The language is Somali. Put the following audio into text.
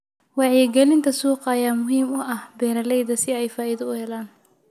Wacyigelinta suuqa ayaa muhiim u ah beeralayda si ay faa'iido u helaan.